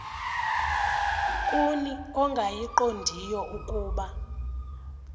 kuni ongayiqondiyo ukuba